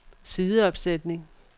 sideopsætning